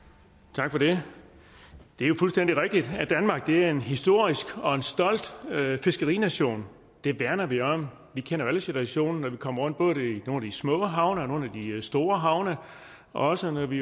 tak for det det er jo fuldstændig rigtigt at danmark er en historisk og stolt fiskerination det værner vi om vi kender jo alle situationen når vi kommer rundt både i nogle små havne og nogle af de store havne og også når vi